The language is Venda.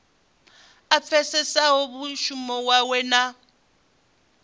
a pfesese mushumo wawe na